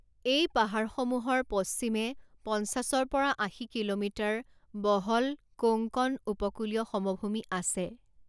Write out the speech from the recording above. এই পাহাৰসমূহৰ পশ্চিমে পঞ্চাছৰ পৰা আশী কিলোমিটাৰ বহল কোংকণ উপকূলীয় সমভূমি আছে।